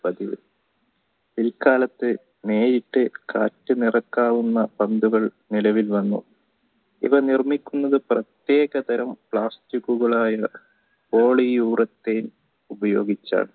പിൽക്കാലത്തു നേരിട്ട് കാറ്റു നിറക്കാവുന്ന പന്തുകൾ നിലവിൽ വന്നു ഇവ നിർമിക്കുന്നത് പ്രതേക തരം പ്ലാസ്റ്റിക്കുകളായ poleo urec ഉപയോഗിച്ചാണ്